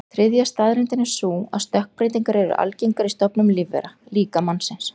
Þriðja staðreyndin er sú að stökkbreytingar eru algengar í stofnum lífvera, líka mannsins.